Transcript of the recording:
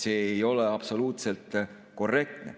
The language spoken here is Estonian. See ei ole absoluutselt korrektne.